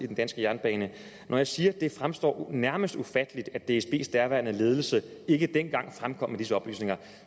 den danske jernbane når jeg siger at det fremstår nærmest ufatteligt at dsbs daværende ledelse ikke dengang fremkom med disse oplysninger